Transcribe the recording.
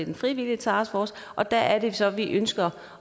en frivillig taskforce og der er det så vi ønsker